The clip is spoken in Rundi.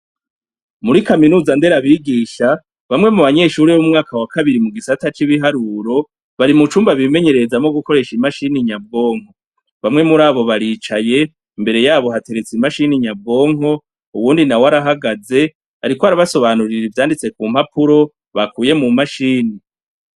Muri kaminuza nderabigisha , bamwe mu banyeshure b'umwaka wa kabiri mu gisata c'ibiharuro bari mucumba bimenyerezamwo gukoresha imashini nyabwonko , bamwe murabo baricaye imbere yabo hateretse imashini nyabwoko uwundi nawe arahagaze ariko arabasobanurira ivyanditse ku mpapuro bakuye mu mashini.